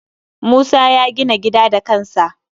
Musa ya gina gida da kansa